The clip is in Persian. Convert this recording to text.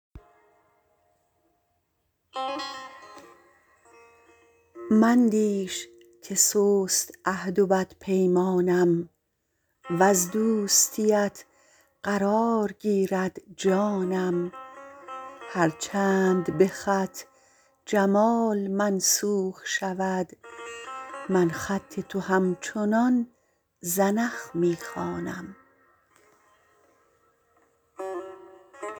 میندیش که سست عهد و بدپیمانم وز دوستیت فرار گیرد جانم هرچند که به خط جمال منسوخ شود من خط تو همچنان زنخ می خوانم